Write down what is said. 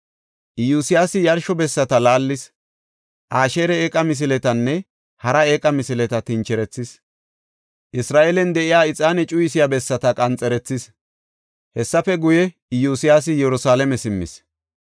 Iyosyaasi yarsho bessata laallis; Asheera eeqa misiletanne hara eeqa misileta tincherethis; Isra7eelen de7iya ixaane cuyisiya bessata qanxerethis. Hessafe guye, Iyosyaasi Yerusalaame simmis.